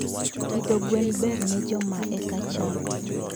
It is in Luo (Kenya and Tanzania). Pidho gwen ber ne joma eka chako.